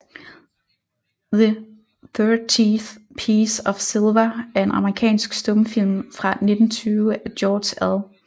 The Thirtieth Piece of Silver er en amerikansk stumfilm fra 1920 af George L